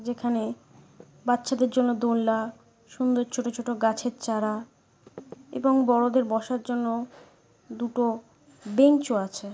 যেখানে বাচ্চাদের জন্য দোলনা সুন্দর ছোটো ছোটো গাছের চারা এবং বড়দের বসার জন্য দুটো বেঞ্চ ও আছে।